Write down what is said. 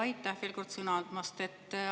Aitäh veel kord sõna andmast!